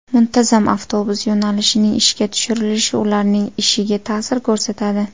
Muntazam avtobus yo‘nalishining ishga tushirilishi ularning ishiga ta’sir ko‘rsatadi.